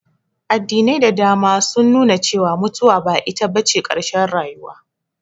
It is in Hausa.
Addinai da dama sun nu na cewa mutuwa ba ita bace ƙarshen rayuwa